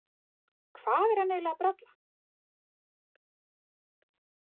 Hvað er hann eiginlega að bralla?